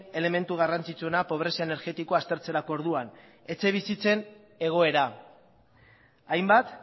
elementu garrantzitsuena pobrezia energetikoa aztertzerako orduan etxebizitzen egoera hainbat